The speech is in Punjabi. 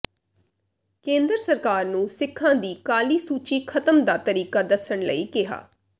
ਕੇਂਦਰ ਸਰਕਾਰ ਨੂੰ ਸਿੱਖਾਂ ਦੀ ਕਾਲੀ ਸੂਚੀ ਖ਼ਤਮ ਦਾ ਤਰੀਕਾ ਦੱਸਣ ਲਈ ਕਿਹਾ